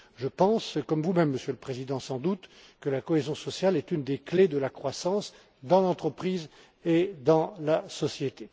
Je pense, comme vous même Monsieur le Président sans doute, que la cohésion sociale est une des clés de la croissance dans l'entreprise et dans la société.